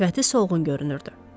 Sifəti solğun görünürdü.